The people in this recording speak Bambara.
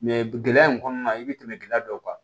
gɛlɛya in kɔnɔna la i bi tɛmɛ gɛlɛya dɔw kan